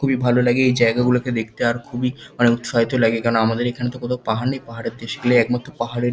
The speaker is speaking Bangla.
খুবই ভালো লাগে এই জায়গাগুলিকে দেখতে আর খুবই উৎসাহিত লাগে কেন আমাদের এখানে তো কোন পাহাড় নেই পাহাড়ের দেশগুলো একমাত্র পাহাড়ের।